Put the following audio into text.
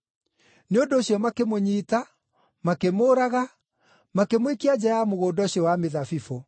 Nĩ ũndũ ũcio makĩmũnyiita, makĩmũũraga, makĩmũikia nja ya mũgũnda ũcio wa mĩthabibũ.